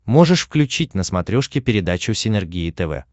можешь включить на смотрешке передачу синергия тв